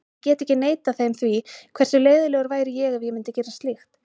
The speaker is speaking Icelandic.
Ég get ekki neitað þeim því, hversu leiðinlegur væri ég ef ég myndi gera slíkt?